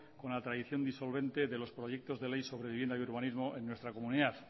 con la tradición disolvente de los proyectos de ley sobre vivienda y urbanismo en nuestra comunidad